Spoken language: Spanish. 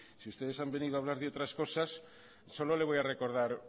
si ustedes han venido a hablar de otras cosas solo le voy a recordar